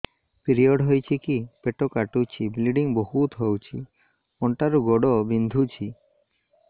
period ହୋଇକି ପେଟ କାଟୁଛି ବ୍ଲିଡ଼ିଙ୍ଗ ବହୁତ ହଉଚି ଅଣ୍ଟା ରୁ ଗୋଡ ବିନ୍ଧୁଛି